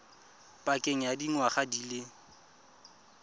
pakeng ya dingwaga di le